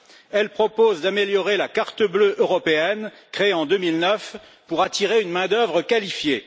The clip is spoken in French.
Elle propose d'améliorer la carte bleue européenne, créée en 2009 pour attirer une main d'œuvre qualifiée.